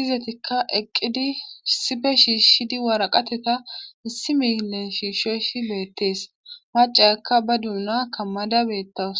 izatikka eqqid issippe shiishidi waraqateta issi millsn shiishoy beettees macciyaka ba duuna kammada beettaws.